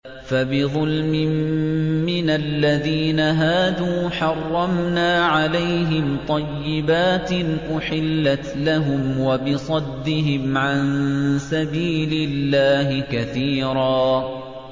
فَبِظُلْمٍ مِّنَ الَّذِينَ هَادُوا حَرَّمْنَا عَلَيْهِمْ طَيِّبَاتٍ أُحِلَّتْ لَهُمْ وَبِصَدِّهِمْ عَن سَبِيلِ اللَّهِ كَثِيرًا